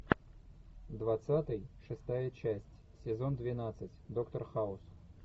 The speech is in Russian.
двадцатый шестая часть сезон двенадцать доктор хаус